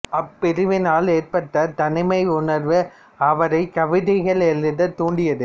அப்பிரிவினால் ஏற்பட்ட தனிமை உணர்வு அவரைக் கவிதைகளை எழுதத் தூண்டியது